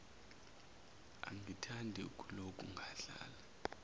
angithandi ukuloku ngadlala